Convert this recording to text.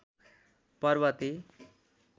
पर्बते